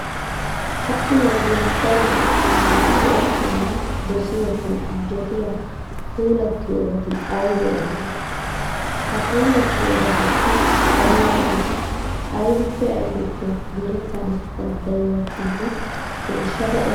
Ha"i wodiyan daro macca naati go"ettanawu dosiyonne injjetiya puulattiyobati aybee aybee? Ha puulattiyobatuppe dariyageeti aybippe aybippe merettana danddayiyakkonne geeshshada eray?